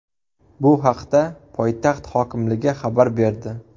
Bu haqda poytaxt hokimligi xabar berdi .